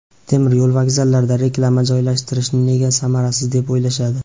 Temir yo‘l vokzallarida reklama joylashtirishni nega samarasiz deb o‘ylashadi?.